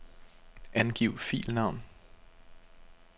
Angiv filnavn.